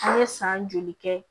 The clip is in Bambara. An ye san joli kɛ